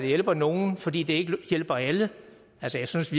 hjælper nogle fordi det ikke hjælper alle jeg synes